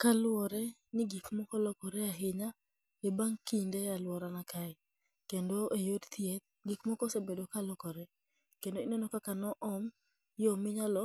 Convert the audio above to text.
Kaluwore ni gik moko lokore ahinya e ban' kinde e alworana kae, kendo e bang' kinde e alworana kae. Kendo e yor thieth, gik moko osebedo ka lokore. Kendo ineno kaka no om yo minyalo